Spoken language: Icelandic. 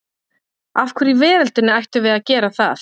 Af hverju í veröldinni ættum við að gera það?